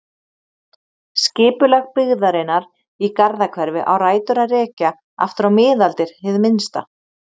Skipulag byggðarinnar í Garðahverfi á rætur að rekja aftur á miðaldir hið minnsta.